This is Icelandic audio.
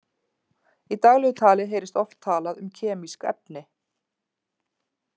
Í daglegu tali heyrist oft talað um kemísk efni.